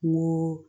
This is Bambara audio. N ko